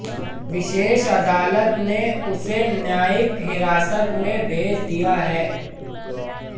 विशेष अदालत ने उसे न्यायिक हिरासत में भेज दिया है